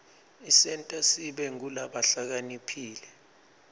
isenta sibe ngulabahlakaniphile